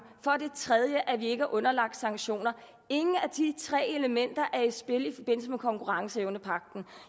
for det tredje at vi ikke er underlagt sanktioner ingen af de tre elementer er i spil i forbindelse med konkurrenceevnepagten